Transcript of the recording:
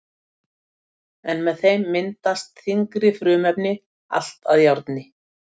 En með þeim myndast þyngri frumefni, allt að járni.